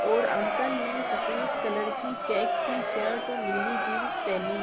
और अंकल ने सफेद कलर की चेक की शर्ट और नीली जीन्स पहनी --